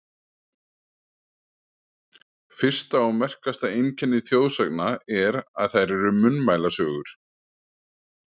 Fyrsta og merkasta einkenni þjóðsagna er, að þær eru munnmælasögur.